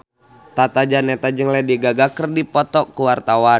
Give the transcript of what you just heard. Tata Janeta jeung Lady Gaga keur dipoto ku wartawan